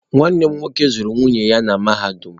Nwanne m nwoke zụrụ nwunye ya na mahadum.